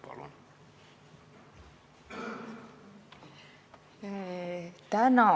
Palun!